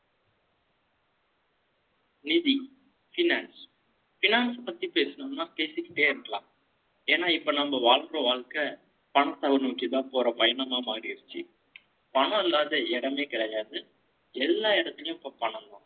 நிதி, finance. Finance பத்தி பேசணும்னா, பேசிக்கிட்டே இருக்கலாம். ஏன்னா, இப்ப நம்ம வாழ்ற வாழ்க்கை, பணத்தை நோக்கிதான், போற பயணமா மாறிருச்சு. பணம் இல்லாத இடமே கிடையாது. எல்லா இடத்துலயும், இப்ப பணம் தான்